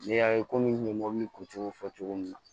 N'i y'a ye komi n ye mobili kun cogo fɔ cogo min na